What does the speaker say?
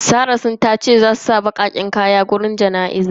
Serah tace baqaqqen kaya zasu saka a wajen bizinan.